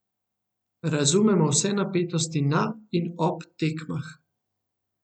Razumemo vse napetosti na in ob tekmah.